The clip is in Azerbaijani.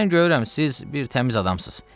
Mən görürəm siz bir təmiz adamsız.